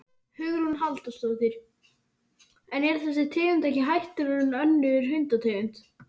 Hugrún Halldórsdóttir: En er þessi tegund ekki hættulegri en önnur hundategund?